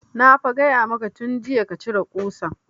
Na fa gaya maka tun jiya ka cire ƙusan